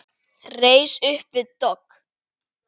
Reis upp við dogg.